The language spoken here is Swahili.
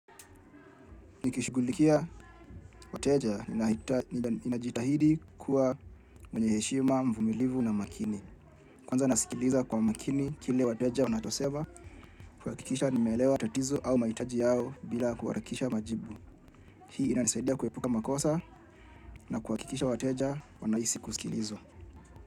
Nikishughulikia wateja ninajitahidi kuwa mwenye heshima, mvumilivu na makini. Kwanza nasikiliza kwa makini kile wateja wanachosema, kuhakikisha nimeelewa tatizo au mahitaji yao bila kuharakisha majibu. Hii inanisaidia kuepuka makosa na kuhakikisha wateja wanahisi kusikilizwa.